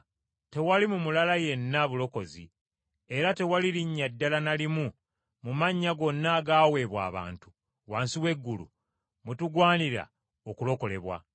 Tewali mu mulala yenna bulokozi, era tewali linnya ddala na limu mu mannya gonna agaaweebwa abantu, wansi w’eggulu, mwetugwanira okulokolebwa.”